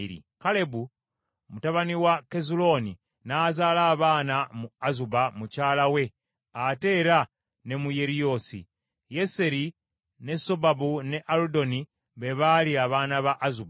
Kalebu mutabani wa Kezulooni n’azaala abaana mu Azuba mukyala we ate era ne mu Yeriyoosi. Yeseri, ne Sobabu, ne Aludoni be baali abaana ba Azuba.